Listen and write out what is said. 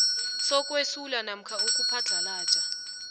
sokwesula namkha ukuphadlhalaja